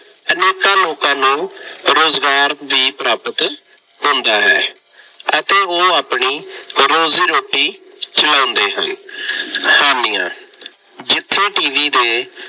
ਅਨੇਕਾਂ ਲੋਕਾਂ ਨੂੰ ਰੁਜ਼ਗਾਰ ਵੀ ਪ੍ਰਾਪਤ ਹੁੰਦਾ ਹੈ ਅਤੇ ਉਹ ਆਪਣੀ ਰੋਜ਼ੀ ਰੋਟੀ ਚਲਾਉਂਦੇ ਹਨ। ਹਾਨੀਆਂ- ਜਿੱਥੇ TV ਦੇ